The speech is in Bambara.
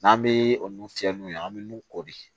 N'an bɛ olu fiyɛ n'u ye an bɛ nun ko de